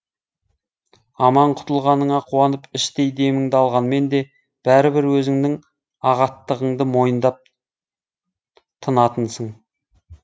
аман құтылғаныңа қуанып іштей деміңді алғанмен де бәрібір өзіңнің ағаттығыңды мойындап тынатынсың